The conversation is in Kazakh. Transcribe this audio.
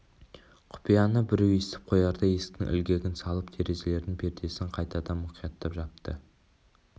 құпияны біреу естіп қоярдай есіктің ілгегін салып терезелердің пердесін қайтадан мұқияттап жапты